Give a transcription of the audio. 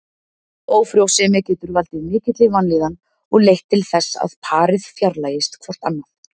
Ófrjósemi getur valdið mikilli vanlíðan og leitt til þess að parið fjarlægist hvort annað.